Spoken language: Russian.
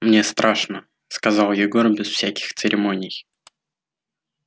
мне страшно сказал егор без всяких церемоний